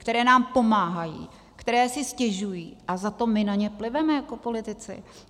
Které nám pomáhají, které si stěžují, a za to my na ně pliveme jako politici?